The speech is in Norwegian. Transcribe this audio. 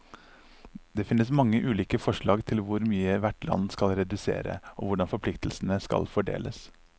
Det finnes mange ulike forslag til hvor mye hvert land skal redusere, og hvordan forpliktelsene skal fordeles.